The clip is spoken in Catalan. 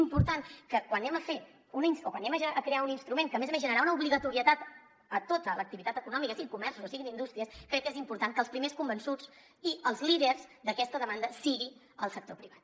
i quan anem a crear un instrument que a més a més generarà una obligatorietat a tota l’activitat econòmica sigui comerç o siguin indústries crec que és important que el primer convençut i el líder d’aquesta demanda sigui el sector privat